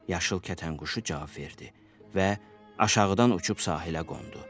Yaşıl kətan quşu cavab verdi və aşağıdan uçub sahilə qondu.